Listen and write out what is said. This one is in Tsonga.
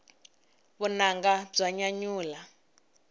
vunanga bya nyanyula